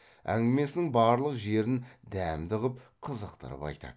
әңгімесінің барлық жерін дәмді ғып қызықтырып айтады